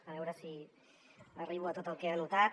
a veure si arribo a tot el que he anotat